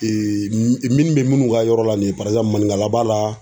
minnu bɛ minnu ka yɔrɔ la nin ye manikala b'a la.